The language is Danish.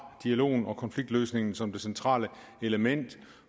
dialogen og konfliktløsningen som det centrale element